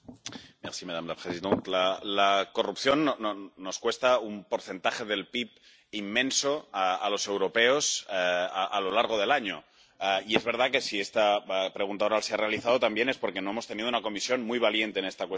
Señora presidenta, la corrupción nos cuesta un porcentaje del PIB inmenso a los europeos a lo largo del año y es verdad que si esta pregunta oral se ha realizado también es porque no hemos tenido una Comisión muy valiente en esta cuestión.